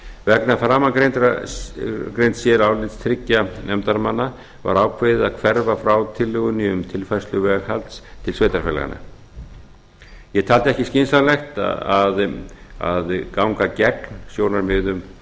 vegna framangreinds sérálits þriggja nefndarmanna var ákveðið að hverfa frá tillögunni um tilfærslu veghalds til sveitarfélaganna ég taldi ekki skynsamlegt að ganga gegn sjónarmiðum